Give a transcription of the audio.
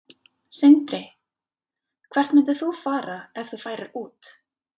Sindri: Hvert myndir þú fara ef þú færir út?